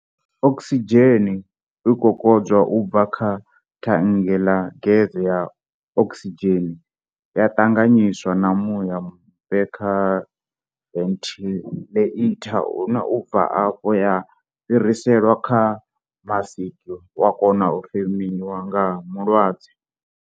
Okisidzheni i kokodzwa u bva kha thannge ḽa gese ya okisidzheni ya ṱanganyiswa na muya mufhe kha venthiḽeitha, une u bva afho ya fhiriselwa kha masiki wa kona u femiwa nga mulwadze.